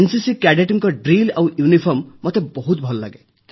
NCC କ୍ୟାଡେଟଙ୍କ drill ଆଉ uniform ମୋତେ ବହୁତ ଭଲ ଲାଗେ